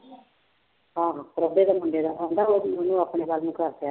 ਆਹੋ ਪ੍ਰਭੇ ਦੇ ਮੁੰਡੇ ਦਾ ਕਹਿੰਦਾ ਉਹਨੂੰ ਆਪਣੇ ਵੱਲ ਨੂੰ ਕਰ ਲਿਆ